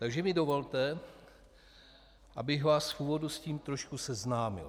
Takže mi dovolte, abych vás v úvodu s tím trošku seznámil.